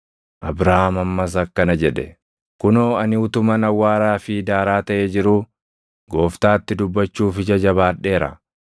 Abrahaam ammas akkana jedhe; “Kunoo ani utuman awwaaraa fi daaraa taʼee jiruu Gooftaatti dubbachuuf ija jabaadheera;